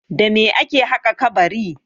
Da me ake haƙa kabari?